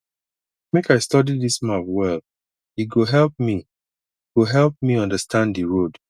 make i study dis map well e go help me go help me understand di road